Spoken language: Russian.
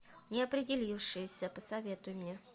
неопределившиеся посоветуй мне